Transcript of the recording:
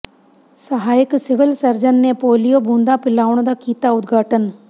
ਸਹਾਇਕ civil surgeon ਨੇ polio ਬੂੰਦਾਂ ਪਿਲਾਉਣ ਦਾ ਕੀਤਾ ਉਦਘਾਟਨ